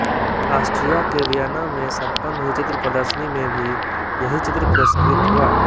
Austria के Vienna में सम्पन्न हुई चित्र प्रदर्शनी में भी यही चित्र पुरस्कृत हुआ